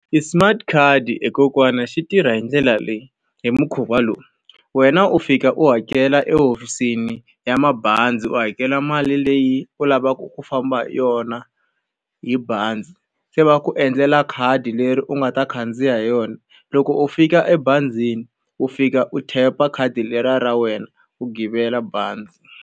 i smart card he kokwana xi tirha hi ndlela leyi, hi mukhuva lowu. Wena u fika u hakela ehofisini ya mabazi u hakela mali leyi u lavaka ku famba hi yona hi bazi, se va ku endlela khadi leri u nga ta khandziya hi yona. Loko u fika ebazini u fika u tap-a khadi leriya ra wena u givela bazi.